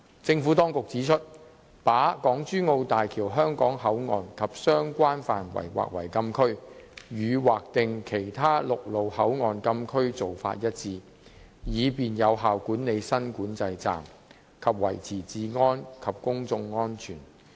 政府當局指出，把港珠澳大橋香港口岸及相關範圍劃為禁區，與劃定其他陸路口岸禁區的做法一致，以便有效管理新管制站，以及維持治安和公眾安全。